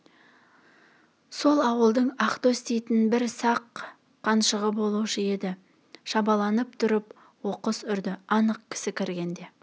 сол ауылдың ақтөс дейтін бір сақ қаншығы болушы еді шабаланып тұрып оқыс үрді анық кісі көргенде